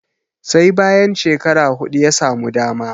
sai bayan shekara hudu ya samu dama